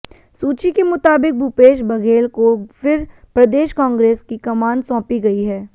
सूची के मुताबिक भूपेश बघेल को फिर प्रदेश कांग्रेस की कमान सौंपी गई है